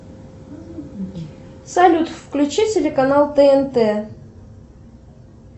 салют включи телеканал тнт